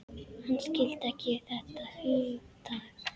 Hann skildi ekki þetta hugtak.